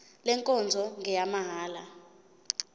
le nkonzo ngeyamahala